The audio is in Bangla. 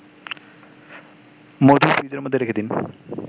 মধু ফ্রিজের মধ্যে রেখে দিন